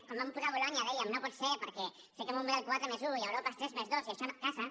quan van posar bolonya dèiem no pot ser perquè fiquem un model quatre+un i europa és tres+dos i això no casa